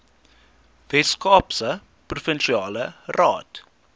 weskaapse provinsiale raad